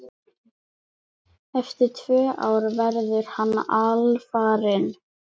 Eftir tvö ár verður hann alfarinn.